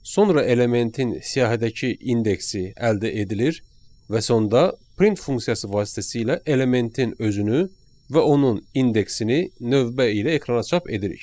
sonra elementin siyahidəki indeksi əldə edilir və sonda print funksiyası vasitəsilə elementin özünü və onun indeksini növbə ilə ekrana çap edirik.